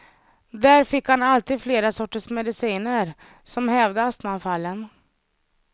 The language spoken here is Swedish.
Där fick han alltid flera sorters mediciner som hävde astmaanfallen.